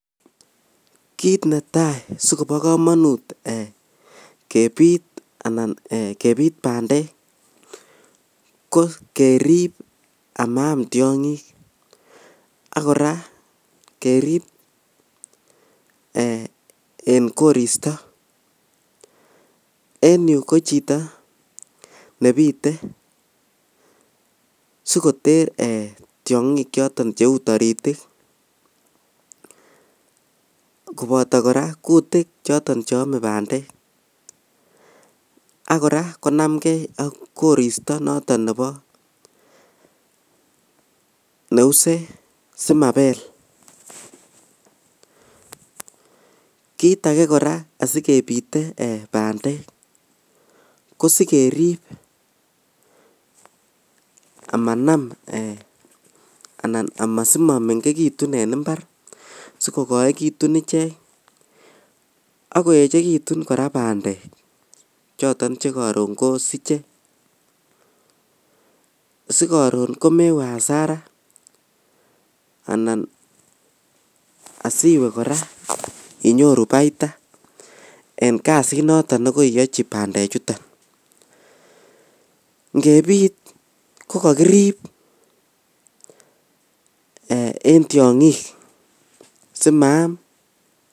Kit netai sikobo komonut kebit ee bandek ko kerib amaam tiongik ak koraa kerib ee en koristo en yu kochito nebite sikoter tiongik choton cheu toritik koboto koraa kutik cheome bandek ak koraa konaamngee ok koristo noton nebo neuse simabel, kit ake koraa sikebite bandek kosikerib komanam ee anan simomengekitun en imbar sikokoekitun ichek ok koechekitun koraa bandek choton chekoron kosiche sikoron komewe hasara anan asiwe koraa inyoru baita en kasit noton nekoiyochin bandechuton ngebit kokokirib en tiongik simaam.